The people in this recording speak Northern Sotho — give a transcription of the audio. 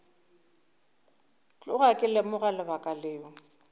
tloga ke lemoga lebaka leo